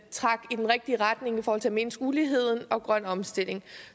trækker i den rigtige retning i forhold til at mindske uligheden og sikre grøn omstilling